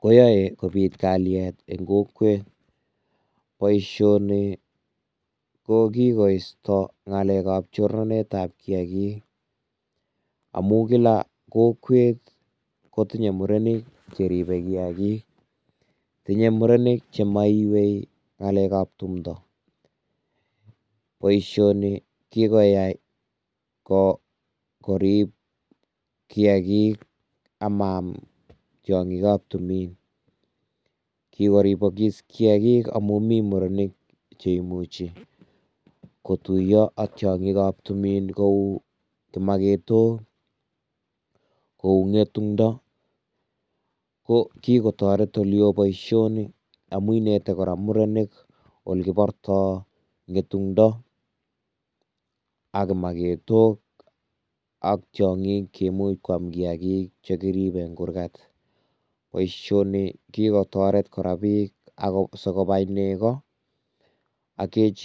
koyae kobit kalyet eng kokwet, boisioni ko kikoisto chorset am kiakik, amuu kila kokwet kotinye murenik Cheribe kiakik, tinye murenik jemoiywei ngalekab tumdo, boisioni kikoyai korib kiakik amaam tyongikab tumin, kikoribokis kiakik amun mii murenik che imuchi kotuiyo ak tyongikab tumin cheu kimoketok, kou ngetundo, ko kikotoret oleo boisioni amun inete kora murenik ole kiborto ngetundo, ak kimoketok, ak tyongik che imuch Kwam kiakik che kiribe eng Kurgat, boisioni kikotoret kora bik sikobai neko ak kejirek.